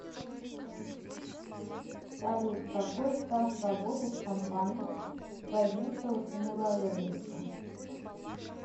салют какой стаж работы в компании у козинцева тимура олеговича